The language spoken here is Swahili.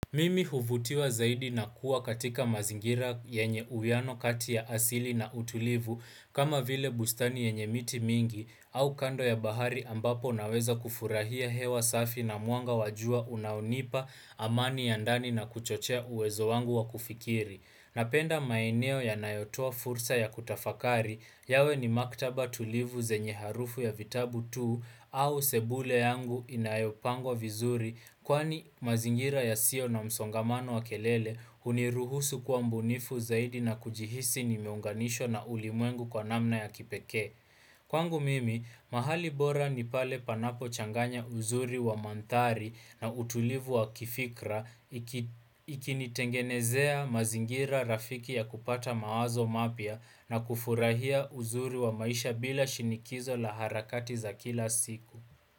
Mimi huvutiwa zaidi na kuwa katika mazingira yenye uiano kati ya asili na utulivu kama vile bustani ya nye miti mingi au kando ya bahari ambapo naweza kufurahia hewa safi na mwanga wa jua unaonipa amani ya ndani na kuchochea uwezo wangu wa kufikiri. Napenda maeneo yanayotua fursa ya kutafakari yawe ni maktaba tulivu zenye harufu ya vitabu tu au sebule yangu inayopangwa vizuri kwani mazingira yasiyo na msongamano wa kelele uniruhusu kwa mbunifu zaidi na kujihisi ni miunganisho na ulimwengu kwa namna ya kipeke. Kwangu mimi, mahali bora ni pale panapo changanya uzuri wa mandhari na utulivu wa kifikra ikinitengenezea mazingira rafiki ya kupata mawazo mapya na kufurahia uzuri wa maisha bila shinikizo la harakati za kila siku.